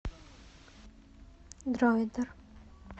дроидер